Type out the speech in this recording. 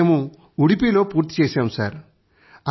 ఇప్పుడే మేము ఉడుపీ లో పూర్తిచేసాము